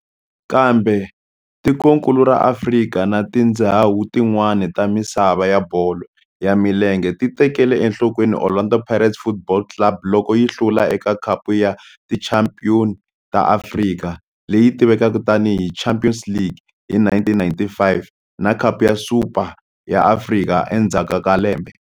Kambe tikonkulu ra Afrika na tindzhawu tin'wana ta misava ya bolo ya milenge ti tekele enhlokweni Orlando Pirates Football Club loko yi hlula eka Khapu ya Tichampion ta Afrika, leyi tivekaka tani hi Champions League, hi 1995 na Khapu ya Super ya Afrika endzhaku ka lembe.